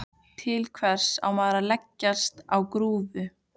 Til hvers á maður að leggjast á grúfu?